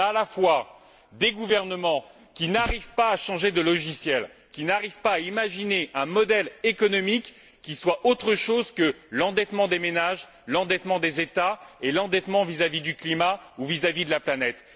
Nous avons à la fois des gouvernements qui n'arrivent pas à changer de logiciel, qui n'arrivent pas à imaginer un modèle économique qui soit autre chose que l'endettement des ménages, l'endettement des États et l'endettement vis à vis du climat ou de la planète.